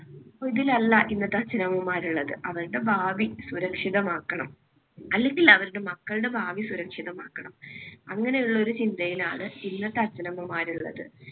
ഇതിൽ അല്ല ഇന്നത്തെ അച്ഛനമ്മമാർ ഉള്ളത്. അവരുടെ ഭാവി സുരക്ഷിതമാക്കണം അല്ലെങ്കിൽ അവരുടെ മക്കളുടെ ഭാവി സുരക്ഷിതമാക്കണം. അങ്ങനെയുള്ള ഒരു ചിന്തയിലാണ് ഇന്നത്തെ അച്ഛനമ്മമാര് ഉള്ളത്.